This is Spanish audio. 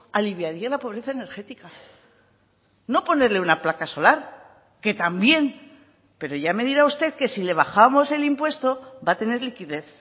aliviaría la pobreza energética no ponerle una placa solar que también pero ya me dirá usted que si le bajamos el impuesto va a tener liquidez